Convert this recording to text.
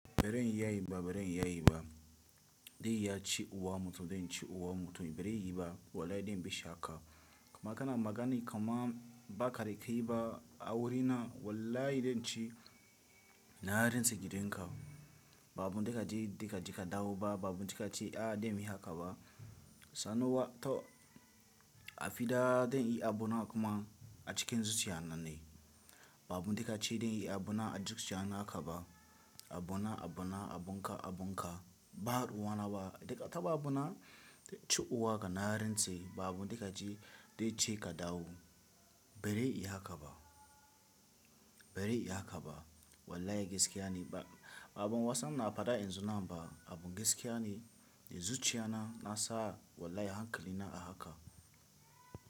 Baran iya yi ba, baran iya yi ba. Dai ya ci uwam mutum dai in ci uwa mutum bari yi ba wallahi dai in bashi haka. Kuma kana magana kama ba ka kai ba a wurina wallahi dai in ci na rantse da slgidenka. Ba abun da ka ce dai ka ce ka dawo ba, ba abun da ka ce a dai muyi haka ba. Sanowa to a fiɗa dai in yi abu na kuma a cikin zuciya na ne. Ba abun da ka ce dai in yi abu na a cikin zuciya na haka ba. Abu na, abu na, abun ka, abun ka ba ruwana ba. Daga taba abu na da ci uwa ka na rantse da su ba abun da ka ce dai ce ka dawo bari in yi haka ba. Bari in yi haka ba wallahi gaskiya ne ba. Abun wasan na faɗa yanzu nan ba, abun gaskiya ne. Da zuciya na, na sa wallahi hankali na a haka.